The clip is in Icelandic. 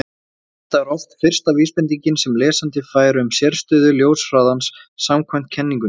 Þetta er oft fyrsta vísbendingin sem lesandi fær um sérstöðu ljóshraðans samkvæmt kenningunni.